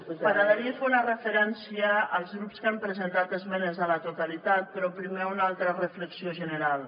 m’agradaria fer una referència als grups que han presentat esmenes a la totalitat però primer una altra reflexió general